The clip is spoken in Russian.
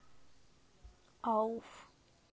ауф